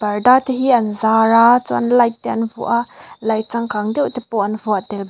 parda te hi an zar a chuan light te an vuah a light changkang deuh te pawh an vuah tel baw--